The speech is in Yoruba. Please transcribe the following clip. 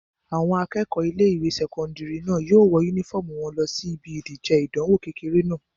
Àwọn akẹ́kọ̀ọ́ ilé-ìwé sẹ́kọ́ndìrì náà yóò wọ yúnífọ́ọ̀mù wọn lọ síbi ìdíje ìdánwò kékeré náà